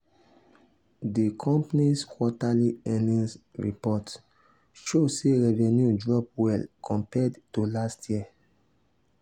di company's quarterly earnings report show sey revenue drop well compared to last year.